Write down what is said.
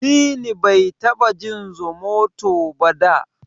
Dini bai taba jin Zomoto ba da.